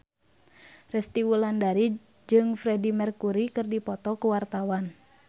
Resty Wulandari jeung Freedie Mercury keur dipoto ku wartawan